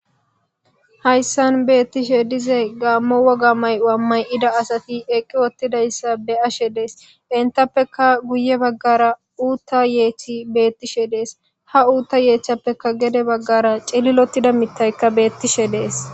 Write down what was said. hayssan beettishe dize gaammo woga may7o7a may7ida asati eqqi wottidayssa be ashe dees entappeka guye baggara uutta yeechi beettishe dees ha uutta yeechchappeka gede baggara celilotida mitaykka beettishe dees